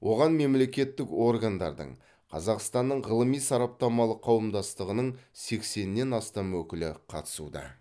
оған мемлекеттік органдардың қазақстанның ғылыми сараптамалық қауымдастығының сексеннен астам өкілі қатысуда